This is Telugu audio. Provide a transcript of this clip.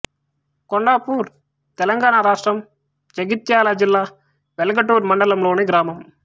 కొండాపూర్ తెలంగాణ రాష్ట్రం జగిత్యాల జిల్లా వెల్గటూర్ మండలంలోని గ్రామం